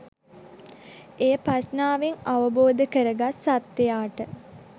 එය ප්‍රඥාවෙන් අවබෝධකරගත් සත්වයාට